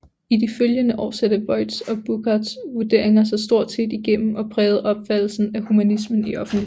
I de følgende år satte Voigts og Burckhardts vurderinger sig stort set igennem og prægede opfattelsen af humanismen i offentligheden